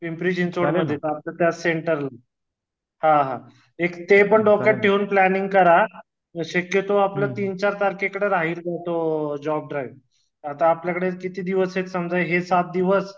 पिम्परो चिंचवडला त्या सेंटरला हा हा ते पण डोक्यात घेऊन प्लांनिंग करा शकतो आपलं तीन चार तारखेकडे जॉब ड्राईव्ह म्हणजे आता आपल्या कडे किती दिवस आहे हे सात दिवस